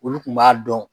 Olu kun b'a dɔn